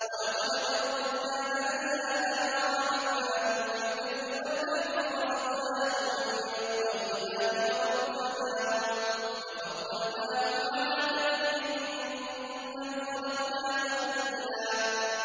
۞ وَلَقَدْ كَرَّمْنَا بَنِي آدَمَ وَحَمَلْنَاهُمْ فِي الْبَرِّ وَالْبَحْرِ وَرَزَقْنَاهُم مِّنَ الطَّيِّبَاتِ وَفَضَّلْنَاهُمْ عَلَىٰ كَثِيرٍ مِّمَّنْ خَلَقْنَا تَفْضِيلًا